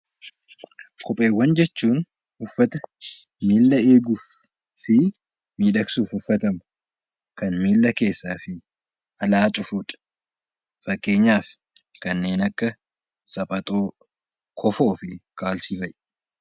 Kopheewwan jechuun uffata miila eeguu fi miidhagsuuf uffatamu kan miila keessaa fi alaa cufudha. Fakkeenyaaf kanneen akka sabaxoo, kofoo fi kaalsii fa'aa